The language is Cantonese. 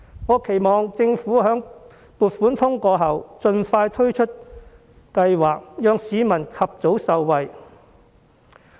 我期望政府在撥款通過後盡快推出計劃，讓市民及早受惠。